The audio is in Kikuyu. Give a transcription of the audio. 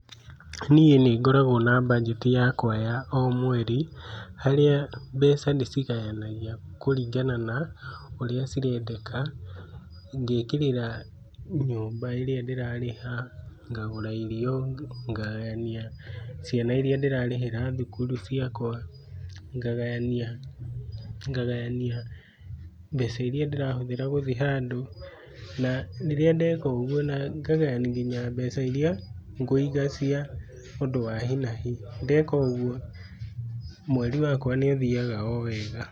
Niĩ nĩ ngoragwo na mbanjeti yakwa ya o mweri, harĩa mbeca ndĩcigayanagia kũringana na ũrĩa cirendeka, ngekĩrĩra nyũmba ĩria ndĩrarĩha, ngagũra irio, ngagayania ciana iria ndĩrarĩhĩra thukuru ciakwa, ngagayania, ngagayania mbeca iria ndĩrahũthĩra gũthiĩ handũ, na rĩria ndeka ũguo, na ngagayania nginya mbeca iria ngũiga cia ũndũ wa hi na hi. Ndeka ũguo mweri wakwa nĩ ũthiaga o wega.